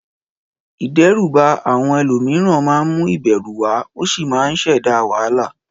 Ìdẹ́rùbà àwọn ẹlòmíràn máa ń mú ìbẹ̀rù wá ó sì máa ń ṣẹ̀dá wàhálà.